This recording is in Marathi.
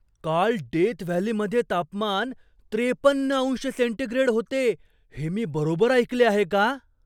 काल डेथ व्हॅलीमध्ये तापमान त्रेपन्न अंश सेंटीग्रेड होते हे मी बरोबर ऐकले आहे का?